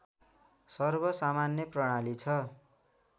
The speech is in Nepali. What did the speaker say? सर्वसामान्य प्रणाली छ